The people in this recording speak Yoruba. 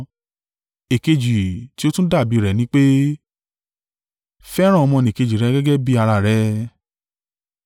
Èkejì tí ó tún dàbí rẹ̀ ní pé, ‘Fẹ́ràn ọmọnìkejì rẹ gẹ́gẹ́ bí ara rẹ.’